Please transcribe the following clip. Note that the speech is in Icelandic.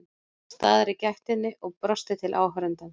Nam staðar í gættinni og brosti til áhorfandans.